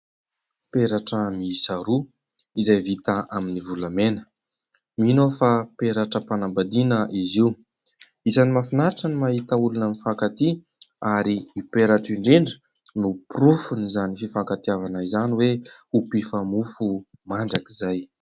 Peratra miisa roa izay vita amin'ny volamena. Mino aho fa peratram-panambadiana izy io. Isany Mafinatra ny mahita olona mifankatia ary ny peratra indrindra no porofon' izany fifankatiavana izany hoe ho mpifa-mofo mandrakizay.